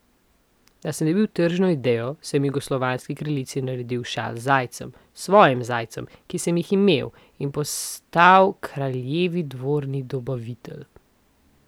Da sem dobil tržno idejo, sem jugoslovanski kraljici naredil šal z zajcem, svojim zajcem, ki sem jih imel, in postal kraljevi dvorni dobavitelj.